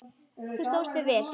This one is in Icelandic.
Þú stóðst þig vel.